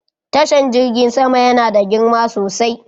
Tashan jirgin sama yana da girma sosai.